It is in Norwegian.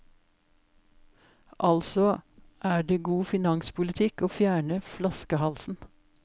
Altså er det god finanspolitikk å fjerne flaskehalsen.